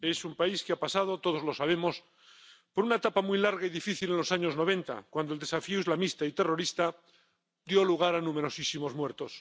Es un país que ha pasado —todos lo sabemos— por una etapa muy larga y difícil en los años noventa, cuando el desafío islamista y terrorista dio lugar a numerosísimos muertos.